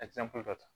dɔ ta